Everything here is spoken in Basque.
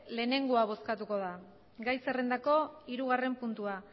lehenengoa bozkatuko da gai zerrendako hirugarren puntua